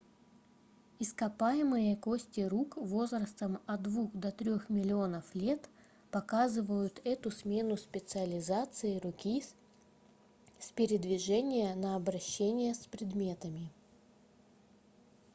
ископаемые кости рук возрастом от двух до трех миллионов лет показывают эту смену специализации руки с передвижения на обращение с предметами